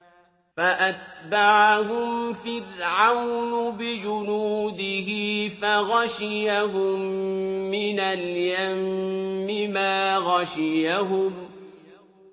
فَأَتْبَعَهُمْ فِرْعَوْنُ بِجُنُودِهِ فَغَشِيَهُم مِّنَ الْيَمِّ مَا غَشِيَهُمْ